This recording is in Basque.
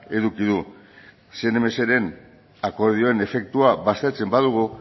eduki du ren akordioaren efektua baztertzen badugu